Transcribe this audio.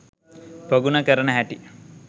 ප්‍රගුණ කරන හැටි